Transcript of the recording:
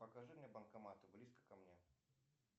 покажи мне банкоматы близко ко мне